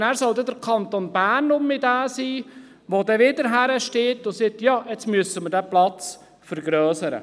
Und dann soll der Kanton wiederum derjenige sein, der wieder hinsteht und sagt: Ja, jetzt müssen wir diesen Platz vergrössern.